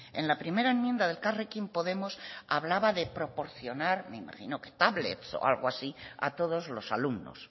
en la primera enmienda de elkarrekin podemos hablaba de proporcionar me imagino que tablets o algo así a todos los alumnos